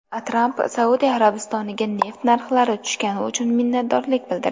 Tramp Saudiya Arabistoniga neft narxlari tushgani uchun minnatdorlik bildirdi.